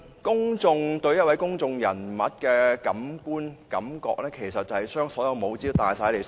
公眾對一位公眾人物的觀感、感覺，其實就是把所有帽子都算在內。